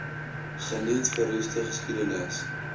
geniet verroeste geskiedenis